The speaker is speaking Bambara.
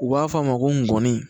U b'a fɔ a ma ko ngɔni